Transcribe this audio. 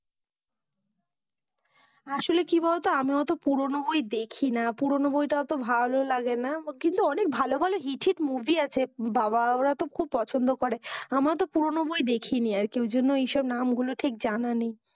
আসলে কি বলতো, আমরা ওতো পুরানো বই দেখি না, পুরানো বই তো ওতো ভালো লাগে না, কিন্তু অনেক ভালো ভালো মুভি hit hit movie আছে বাবা ওরা তো খুব পছন্দ করে, আমরা তো পুরানো বই দেখি নি, আর কি ওই জন্য ওই সব নাম গুলো ঠিক জানা নেই।